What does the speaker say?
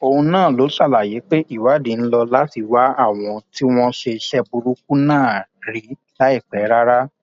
òun náà ló ṣàlàyé pé ìwádìí ń lò láti wá àwọn tí wọn ṣe iṣẹ burúkú náà rí láìpẹ rárá